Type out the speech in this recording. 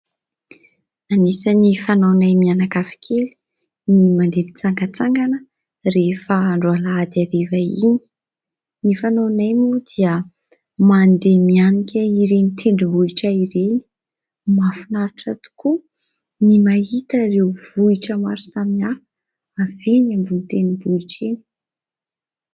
Anisan'ny fanaonay mianakavy kely ny mandeha mitsangantsangana rehefa andro alahady hariva iny, ny fanaonay moa dia mandeha mianika ireny tendrombohitra ireny. Mahafinaritra tokoa ny mahita ireo vohitra maro samihafa avy eny ambony tendrombohitra eny.